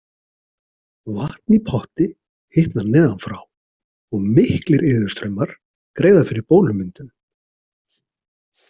Vatn í potti hitnar neðan frá og miklir iðustraumar greiða fyrir bólumyndun.